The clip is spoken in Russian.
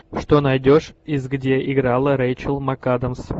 что найдешь из где играла рэйчел макадамс